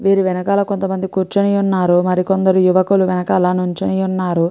వీరి వెనకాల కొంతమంది కూర్చుని ఉన్నారు మరి కొందరు యువకులు వెనుకాల నించుని ఉన్నారు.